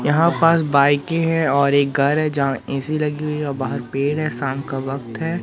यहां पास बाइके हैं और एक घर है जहां ऐ_सी लगी हुई है और बाहर पेड़ है शाम का वक्त है।